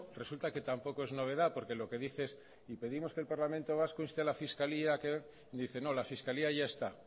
resulta que tampoco es novedad porque lo que dice es y pedimos que el parlamento vasco inste a la fiscalía y dice no la fiscalía ya está